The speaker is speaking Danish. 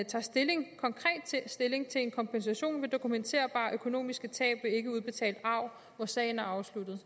tager stilling til en kompensation ved dokumenterbare økonomiske tab ved ikkeudbetalt arv hvor sagen er afsluttet